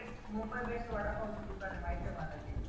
Mumbai best vada पावचा दुकान आहे माहितीये माला